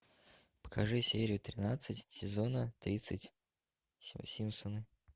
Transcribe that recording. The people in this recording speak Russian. покажи серию тринадцать сезона тридцать симпсоны